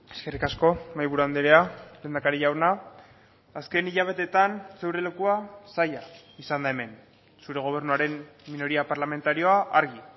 eskerrik asko mahaiburu andrea lehendakari jauna azken hilabeteetan zure lekua zaila izan da hemen zure gobernuaren minoria parlamentarioa argi